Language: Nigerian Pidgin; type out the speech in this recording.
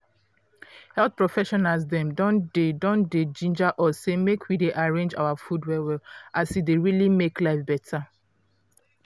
health professionals dem don dey don dey ginger us say make we dey arrange our food well well as e dey really make life beta.